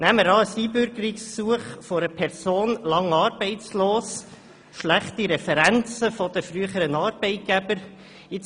Nehmen wir das Einbürgerungsgesuch einer Person, die lange arbeitslos war und über schlechte Referenzen der früheren Arbeitgeber verfügt.